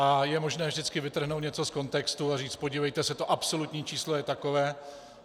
A je možné vždycky vytrhnout něco z kontextu a říct podívejte se, to absolutní číslo je takové.